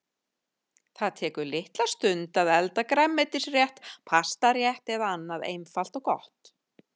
Það tekur litla stund að elda grænmetisrétt, pastarétt eða annað einfalt og gott.